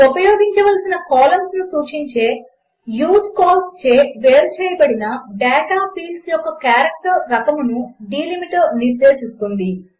ఉపయోగించవలసిన కాలంస్ను సూచించే యూజ్కాల్స్ చే వేరుచేయబడిన డేటా ఫీల్డ్స్ యొక్క క్యారెక్టర్ రకమును డెలిమిటర్ నిర్దేశిస్తుంది